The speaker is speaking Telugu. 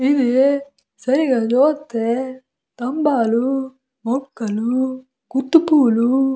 ఇవి సరిగా చూస్తే స్తంబాలు మొక్కలు గుత్తి పువ్వులు --